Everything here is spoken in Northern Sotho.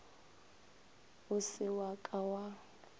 o se wa ka wa